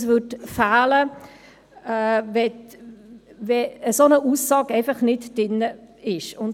Es würde etwas fehlen, wenn eine solche Aussage nicht drin stünde.